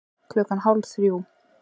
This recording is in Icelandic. Klukkan hálf þrjú